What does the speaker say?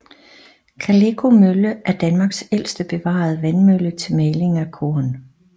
Kaleko Mølle er Danmarks ældste bevarede vandmølle til maling af korn